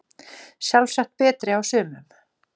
Sjálfsagt betri á sumum